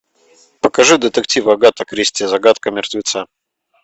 покажи детектив агата кристи загадка мертвеца